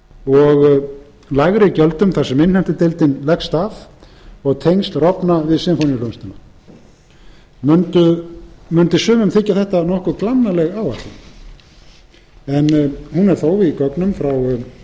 og með lægri gjöldum þar sem innheimtudeildin leggst af og tengsl rofna við sinfóníuhljómsveitina mundi sumum þykja þetta nokkuð glannaleg áætlun en hún er þó í gögnum frá